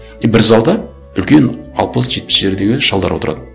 и бір залда үлкен алпыс жетпістердегі шалдар отырады